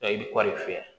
fiyɛ